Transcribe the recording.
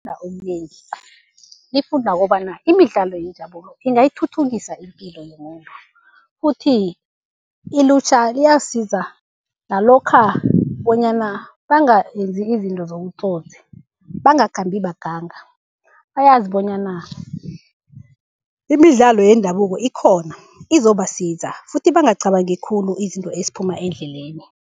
lifunda okunengi, lifunda kobana imidlalo yendabulo ingayithuthukisa ipilo yomuntu. Futhi ilutjha liyasiza nalokha bonyana bangenzi izinto zobutsotsi, bangakhambi baganga. Bayazi bonyana imidlalo yendabuko ikhona, izobasiza futhi bangacabangi khulu izinto eziphuma endleleni.